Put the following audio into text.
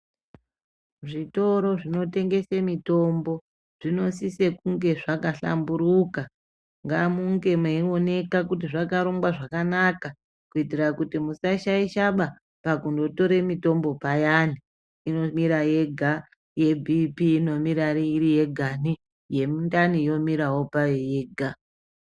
Zvitoro zvinotengese mitombo zvinosise kunge zvaka hlamburuka ngamunge meyioneka kuti zvakarongwa zvakanaka kuitira kuti pakuzotora mitombo payani inomira yega yebp inomira iri yegani yemundani yomirawo payowo yega.